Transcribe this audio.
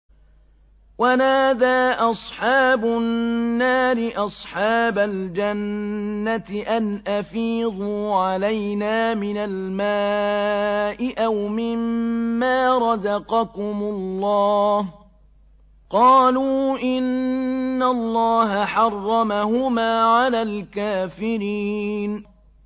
وَنَادَىٰ أَصْحَابُ النَّارِ أَصْحَابَ الْجَنَّةِ أَنْ أَفِيضُوا عَلَيْنَا مِنَ الْمَاءِ أَوْ مِمَّا رَزَقَكُمُ اللَّهُ ۚ قَالُوا إِنَّ اللَّهَ حَرَّمَهُمَا عَلَى الْكَافِرِينَ